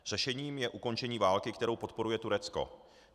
Řešením je ukončení války, kterou podporuje Turecko.